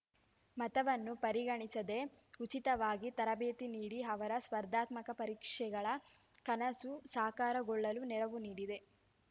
ಮತವನ್ನು ಪರಿಗಣಿಸದೆ ಉಚಿತವಾಗಿ ತರಬೇತಿ ನೀಡಿ ಅವರ ಸ್ಪರ್ಧಾತ್ಮಕ ಪರೀಕ್ಷೆಗಳ ಕನಸು ಸಾಕಾರಗೊಳ್ಳಲು ನೆರವು ನೀಡಿದೆ